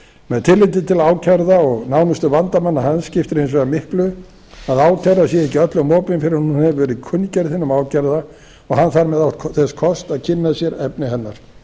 með tilliti til ákærða og nánustu vandamanna hans skiptir hins vegar miklu að ákæra sé ekki öllum opin fyrr en hún hefur verið kunngerð hinum ákærða og hann þarf með átt þess kost að kynna sér efni hennar